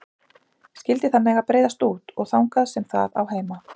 Skyldi það mega breiðast út, og þangað sem það á heima.